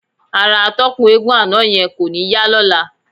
Ara atọ́kùn eégún àná yẹn kò ní yá lọ́la.